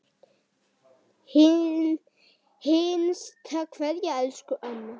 HINSTA KVEÐA Elsku amma.